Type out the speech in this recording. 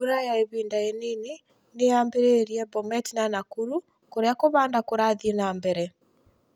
Mbura ya ihinda inini nĩ yambĩrĩirie Bomet na Nakuru kũrĩa kũhanda kũrathĩe na mbere.